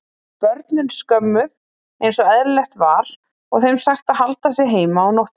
Börnin skömmuð einsog eðlilegt var og þeim sagt að halda sig heima á nóttunni.